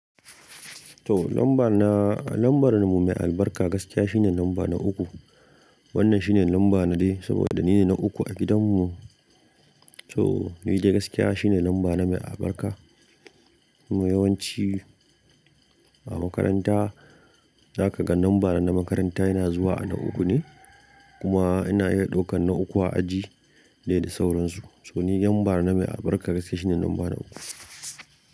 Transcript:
To lambar na, lambar mu mai albarka gaskiya shine lamba na uku. Wannan shine lamba na dai saboda ni ne na uku a gidan mu. To ni dai gaskiya shine lamba na mai albarka. Kuma yawanci a makaranta za ka ga lambar na makaranta yana zuwa a na uku ne. Kuma ana iya ɗaukan na uku a aji dai da sauransu. To ni lambar na mai albarka gaskiya shine lamba na uku.